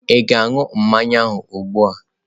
Ị ga-aṅụ mmanya ahụ ugbu a?